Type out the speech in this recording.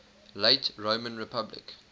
late roman republic